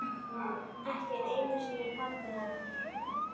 Ekki einu sinni pabbi hennar.